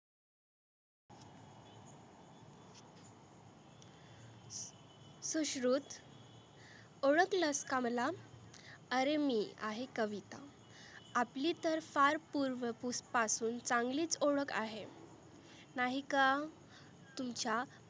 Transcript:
सुश्रुत ओळखलत का मला? आरे मी आहे कविता आपली तर फार पुर्व पासुन चांगलीच ओळख आहे. नाही का? तुमच्या